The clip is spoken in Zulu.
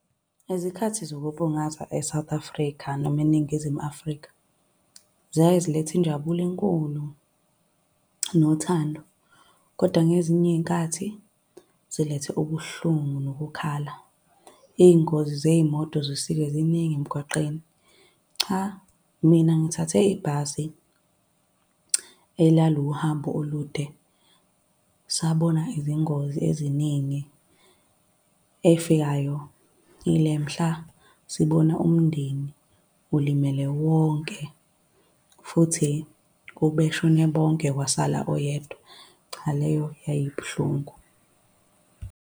Izikhathi zokubungaza e-South Africa, noma iNingizimu Afrika, ziyaye zilethe injabulo enkulu nothando, kodwa ngezinye iy'nkathi zilethe ubuhlungu nokukhala. Iy'ngozi zey'moto zisuke ziningi emgwaqeni. Cha, mina ngithathe ibhasi elaliwuhambo olude. Sabona izingozi eziningi. Efikayo ile mhla sibona umndeni ulimele wonke, futhi beshone bonke, kwasala oyedwa. Cha leyo, yayibuhlungu.